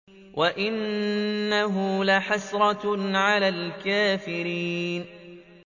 وَإِنَّهُ لَحَسْرَةٌ عَلَى الْكَافِرِينَ